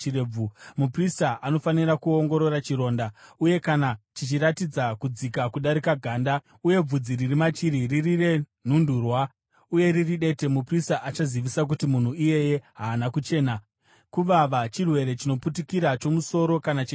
muprista anofanira kuongorora chironda, uye kana chichiratidza kudzika kudarika ganda, uye bvudzi riri machiri riri renhundurwa uye riri dete, muprista achazivisa kuti munhu iyeye haana kuchena, kuvava, chirwere chinotapukira chomusoro kana chechirebvu.